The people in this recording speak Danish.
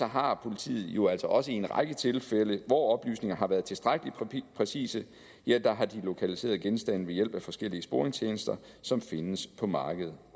har politiet jo altså også i en række tilfælde hvor oplysninger har været tilstrækkelig præcise lokaliseret genstande ved hjælp af forskellige sporingstjenester som findes på markedet